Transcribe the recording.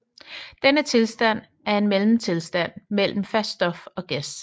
Denne tilstand er en mellemtilstand mellem fast stof og gas